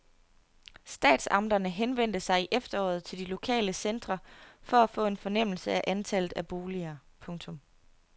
Statsamterne henvendte sig i efteråret til de lokale centre for at få en fornemmelse af antallet af boliger. punktum